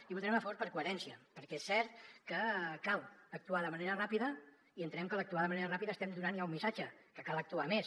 i hi votarem a favor per coherència perquè és cert que cal actuar de manera ràpida i entenem que a l’actuar de manera ràpida estem donant ja un missatge que cal actuar més